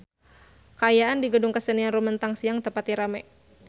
Kaayaan di Gedung Kesenian Rumetang Siang teu pati rame